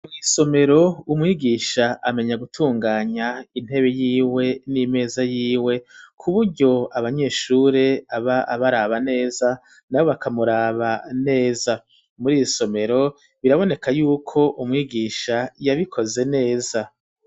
Mw'isomero umwigisha amenya gutunganya intebe yiwe n'imeza yiwe ku buryo abanyeshure aba abaraba neza na bo bakamuraba neza muri irisomero biraboneka yuko umwigisha yabikoze neza.